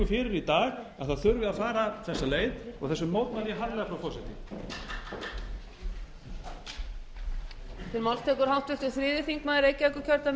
fyrir í dag að það þurfi að fara þessa leið og þessu mótmæli ég harðlega frú forseti